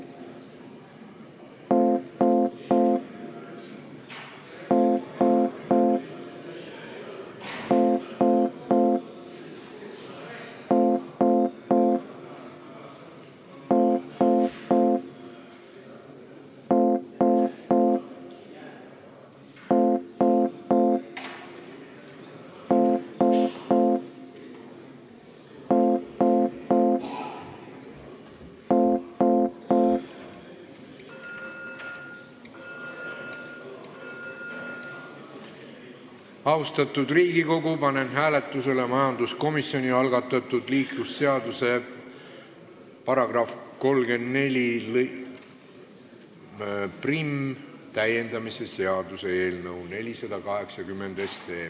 Austatud Riigikogu, panen hääletusele majanduskomisjoni algatatud liiklusseaduse § 341 täiendamise seaduse eelnõu 480.